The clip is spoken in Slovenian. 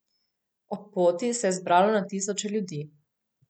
Ob poti se je zbralo na tisoče ljudi.